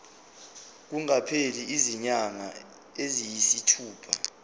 kungakapheli izinyanga eziyisithupha